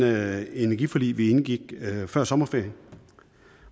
det energiforlig vi indgik før sommerferien